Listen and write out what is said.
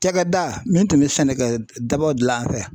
Cakɛda min tun be sɛnɛkɛ dabaw gilan an fɛ yan